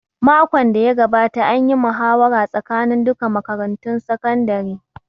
Makon da ya gabata an yi muhawara tsakanin duka makarantun sakandare